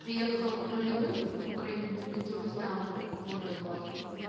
приехал нулевым в украину или ты уже знал какую-то базу